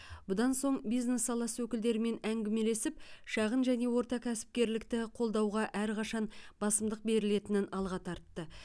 бұдан соң бизнес саласы өкілдерімен әңгімелесіп шағын және орта кәсіпкерлікті қолдауға әрқашан басымдық берілетінін алға тартты